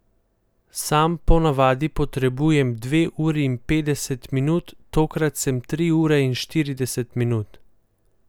Sam po navadi potrebujem dve uri in petdeset minut, tokrat sem tri ure in štirideset minut.